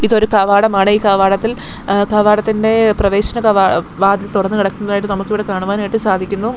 ഇതൊരു കവാടമാണ് ഈ കാവടത്തിൽ എ കവാടത്തിന്റെ പ്രവേശന കവ വാതിൽ തുറന്ന് കിടക്കുന്നതായിട്ട് നമുക്കിവിടെ കാണുവാനായിട്ട് സാധിക്കുന്നു.